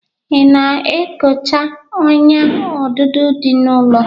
Ị na-ekocha ọ́nyà odudo dị n'ụlọ?